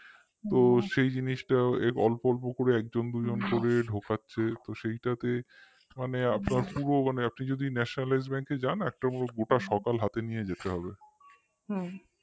তো সেই জিনিসটা অল্প অল্প করে একজন দুজন করে ঢোকাচ্ছে তো সেইটাতে আপনার পুরো মানে আপনি যদি nationalized bank এ যান একটা পুরো গোটা সকাল হাতে নিয়ে যেতে হবে